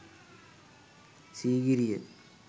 sigiriya